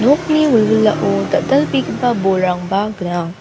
nokni wilwilao dal·dalbegipa bolrangba gnang.